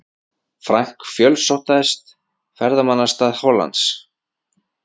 Frank, fjölsóttasta ferðamannastað Hollands.